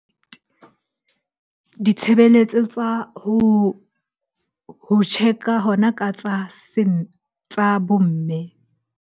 Ditshebeletso tsa ho check-a hona ka tsa tsa bo mme.